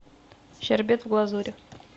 щербет в глазури